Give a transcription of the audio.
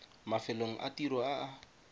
mafelong a tiro a a